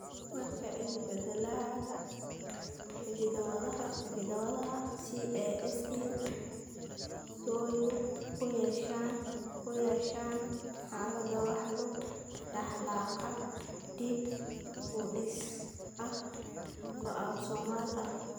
Marka isbeddellada hidda-wadaha CASQ twoay lug ku yeeshaan, xaaladda waxaa lagu dhaxlaa qaab dib-u-dhis ah oo autosomal ah.